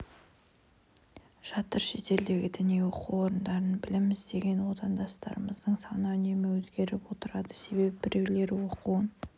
жатыр шетелдегі діни оқу орындарында білім іздеген отандастарымыздың саны үнемі өзгеріп отырады себебі біреулері оқуын